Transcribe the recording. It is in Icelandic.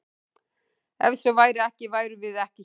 Ef svo væri ekki værum við ekki hér!